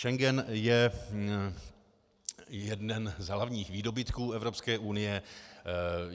Schengen je jeden z hlavních výdobytků Evropské unie.